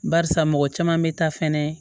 Barisa mɔgɔ caman bɛ taa fɛnɛ